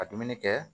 Ka dumuni kɛ